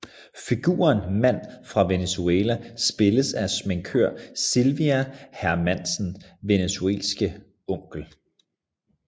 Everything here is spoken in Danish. Figuren Mand fra Venezuela spilles af sminkør Silvia Hermansens venezuelanske onkel